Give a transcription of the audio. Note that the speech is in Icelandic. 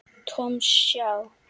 Thomas, já.